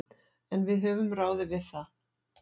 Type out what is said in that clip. En við höfum ráðið við það.